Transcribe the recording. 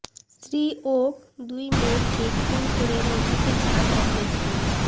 স্ত্রী ও দুই মেয়েকে খুন করে নদীতে ঝাঁপ এক ব্যক্তির